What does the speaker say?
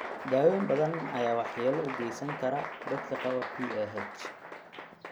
Daawooyin badan ayaa waxyeelo u geysan kara dadka qaba PAH.